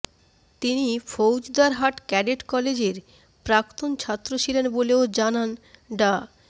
তিনি ফৌজদারহাট ক্যাডেট কলেজের প্রাক্তন ছাত্র ছিলেন বলেও জানান ডা